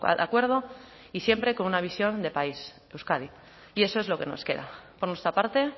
de acuerdo y siempre con una visión de país euskadi y eso es lo que nos queda por nuestra parte